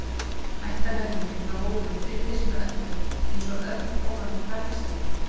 Ættarhöfðinginn frá Hólum fylgdist með öllu eins og örn ofan af bergstalli.